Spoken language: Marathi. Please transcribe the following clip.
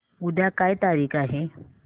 उद्या काय तारीख आहे